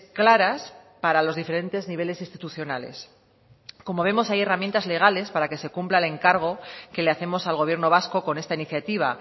claras para los diferentes niveles institucionales como vemos hay herramientas legales para que se cumpla el encargo que le hacemos al gobierno vasco con esta iniciativa